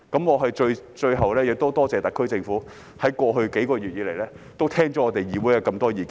我最後要多謝特區政府，在過去幾個月聆聽議會的多項意見。